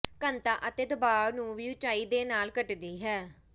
ਘਣਤਾ ਅਤੇ ਦਬਾਅ ਨੂੰ ਵੀ ਉਚਾਈ ਦੇ ਨਾਲ ਘਟਦੀ ਹੈ